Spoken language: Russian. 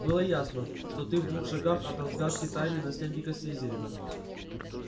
было ясно что ты в двух шагах от разгадки тайны наследника слизерина